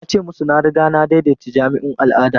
Na ce musu na riga na daidaita jami'un al'ada.